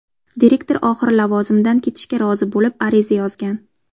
Direktor oxiri lavozimidan ketishga rozi bo‘lib, ariza yozgan.